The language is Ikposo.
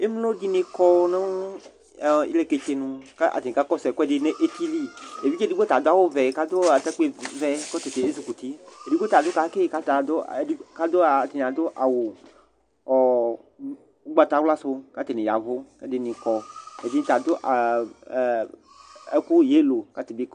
ɛmlo dini kɔ nʋ ilɛkɛtsɛnʋ kʋ atani ka kɔsʋ ɛkʋɛdi nʋ ɛtili evidze edigbo ta adʋ awʋ vɛ ka dʋ atakpi vɛ kɔtabi yɛ zʋkʋti ɛdigbo ta adʋ kaki kʋ ata adʋ a atani adʋ awʋ ɔ ʋkpatawʋla sʋ kʋ atani yavʋ kʋ edini kɔ ɛdini bi ta adʋ ɛkʋ yɛllow kʋ atani kɔ